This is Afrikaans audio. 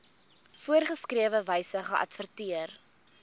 voorgeskrewe wyse geadverteer